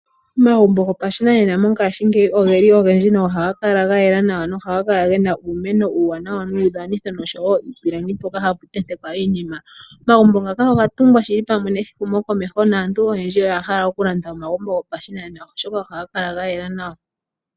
Omagumbo gopashinanena mongashingeyi ogeli ogendji no haga kala ga yela nawa, no haga kala gena uumeno uuwanawa nuudhanitho noshowo iipilangi mpoka hapu tentekwa iinima. Omagumbo ngaka oga tungwa shili pamwe nehumokomeho, naantu oyendji oya hala okulanda omagumbo gopashinanena oshoka ohaga kala ga yela nawa.